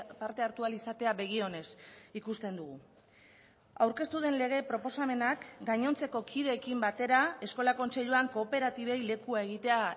parte hartu ahal izatea begi onez ikusten dugu aurkeztu den lege proposamenak gainontzeko kideekin batera eskola kontseiluan kooperatibei lekua egitea